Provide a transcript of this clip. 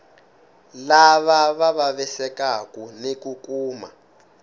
lava vavisekaku ni ku kuma